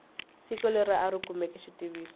siku leri a kumeke xitiviso